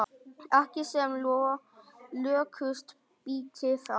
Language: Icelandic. Ekki sem lökust býti það.